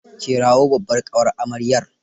Kirawo babbar ƙawar amaryar.